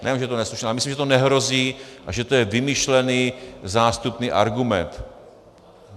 Nejen že je to neslušné, ale myslím, že to nehrozí a že to je vymyšlený zástupný argument.